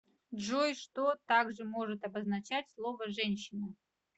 джой что также может обозначать слово женщина